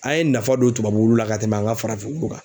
An ye nafa don tubabu wulu la ka tɛmɛn an ka farafin wulu kan.